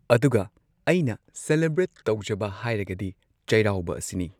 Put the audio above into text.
ꯑꯗꯨꯒ ꯑꯩꯅ ꯁꯦꯂꯦꯕ꯭ꯔꯦꯠ ꯇꯧꯖꯕ ꯍꯥꯏꯔꯒꯗꯤ ꯆꯩꯔꯥꯎꯕ ꯑꯁꯤꯅꯤ꯫